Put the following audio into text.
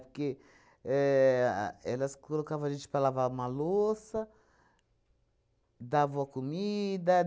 Porque éh elas colocavam a gente para lavar uma louça, davam a comida.